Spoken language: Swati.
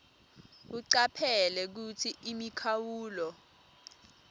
ucaphele kutsi imikhawulo